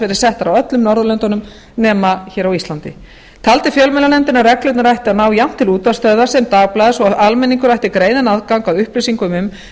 verið settar á öllum norðurlöndunum nema hér á íslandi taldi fjölmiðlanefndin að reglurnar ættu að ná jafnt til útvarpsstöðvar sem dagblaðs og almenningur ætti greiðan aðgang að upplýsingum um